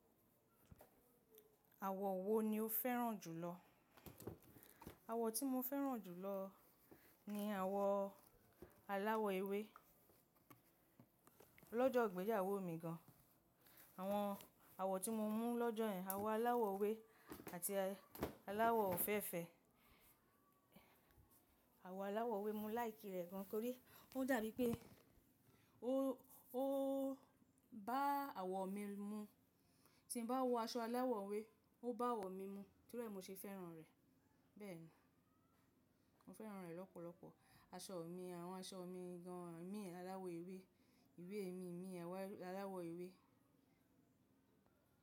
Àwọ̀ wo ni o fẹ́ràn jùlọ? Àwọ̀ tí mo fẹ́ràn jù lọ ni àwọ̀ aláwọ̀ ewé. Lọ́jọ́ ìgbéyàwó mi gan, àwọn àwọ̀ tí mo mú lọ́jọ́ yẹn, àwọ̀ aláwọ̀ ewé àti aláwọ̀ òféèfé. Àwọ̀ aláwọ̀ ewé mo láì kí rẹ̀ gan, torí ó dàbí pé ó, ó bá àwọ̀ mi mu. Tí mo bá wọ aṣọ aláwọ̀ ewé, ó bá àwọ̀ mi mu, torí ẹ mi ṣe fẹ́ràn rẹ̀. Bẹ́ẹ̀ni, mo fẹ́ràn rẹ̀ lọ́pọ̀lọpọ̀. Aṣọ mi, àwọn aṣọ mi gan mi aláwọ̀ ewé, ìwé mi mi aláwọ̀ ewé.